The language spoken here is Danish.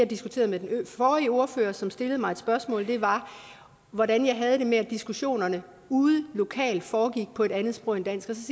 diskuterede med den forrige ordfører som stillede mig et spørgsmål var hvordan jeg havde det med at diskussionerne ude lokalt foregik på et andet sprog end dansk